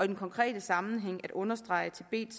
den konkrete sammenhæng at understrege at tibet